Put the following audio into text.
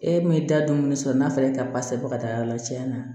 E min da don sisan n'a fɔra e ka basigi bɔ ka taa yɔrɔ la tiɲɛna